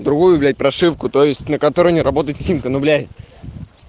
другую блять прошивку то есть на которой не работает симка ну блять